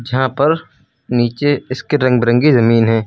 यहां पर नीचे इसके रंग बिरंगी जमीन है।